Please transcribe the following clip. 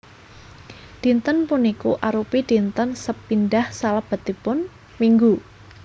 Dinten puniku arupi dinten sepindhah salebetipun minggu